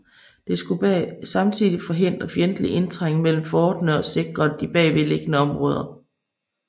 Det skulle samtidig hindre fjendtlig indtrængen mellem forterne og sikre de bagved liggende områder